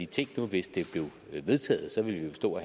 tænk nu hvis det blev vedtaget så ville vi jo stå